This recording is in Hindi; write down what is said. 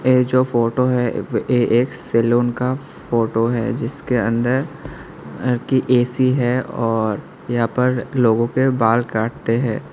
ये जो फोटो है वे एक सैलून का फोटो है जिसके अंदर की ए_सी है और यहां पर लोगों के बाल काटते हैं।